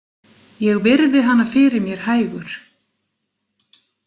Ég virði hana fyrir mér hægur.